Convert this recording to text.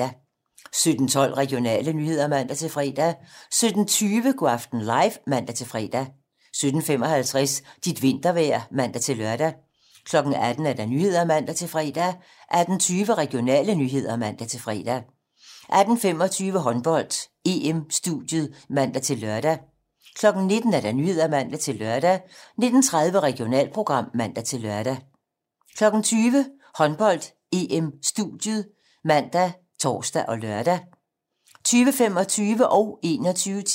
17:12: Regionale nyheder (man-fre) 17:20: Go' aften live (man-fre) 17:55: Dit vintervejr (man-lør) 18:00: 18 Nyhederne (man-fre) 18:20: Regionale nyheder (man-fre) 18:25: Håndbold: EM-studiet (man-lør) 19:00: 19 Nyhederne (man-lør) 19:30: Regionalprogram (man-lør) 20:00: Håndbold: EM-studiet ( man, tor, lør) 20:25: Håndbold: EM - Nordmakedonien-Danmark (m)